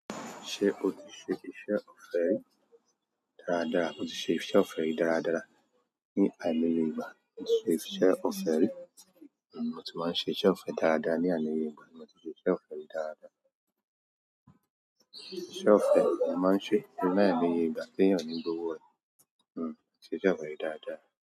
Ṣe o ti ṣe ìṣe ọ̀fẹ́ rẹ dáradára? Moti ṣe ìṣe ọ̀fẹ́ rẹ dáradára ní àimo iyẹ ìgbà? Ṣe ìṣe ọ̀fẹ́ ri? O ti máa ń ṣe ìṣe ọ̀fẹ́ dáradára ní àìmo iyẹ ìgbà, ni mo tí ṣe ìṣe ọ̀fẹ́ rẹ dáradára. Ìṣe ọ̀fẹ́ ni a máa ń ṣe ní àimoiyẹ ìgbà téèyàn oni gbowo re. Móti sisé ọ̀fẹ́ ri dádá.